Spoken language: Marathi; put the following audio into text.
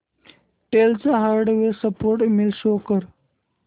डेल चा हार्डवेअर सपोर्ट ईमेल शो कर